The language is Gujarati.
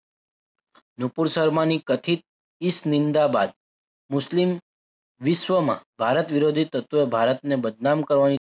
નુપુર શર્માની કથિત ઈસ નિંદાબાદ મુસ્લિમ વિશ્વમાં ભારત વિરોધી તત્વ ભારતને બદનામ કરવાની